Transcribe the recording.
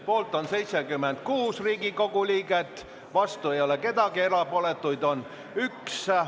Poolt on 76 Riigikogu liiget, vastu ei ole kedagi, erapooletuid on üks.